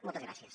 moltes gràcies